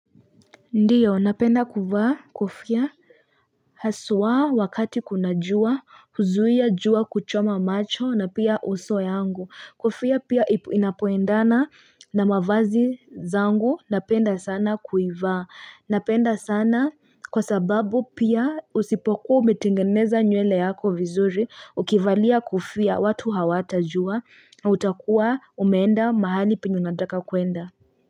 Ndiyo, napenda kuvaa kofia, haswaa wakati kuna jua, huzuia jua kuchoma macho na pia uso wangu. Kofia pia inapoendana na mavazi yangu, napenda sana kuivaa. Napenda sana kwa sababu pia usipokuwa umetengeneza nywele yako vizuri, ukivalia kofia watu hawatajua, utakua umeenda mahali peye unataka kwenda.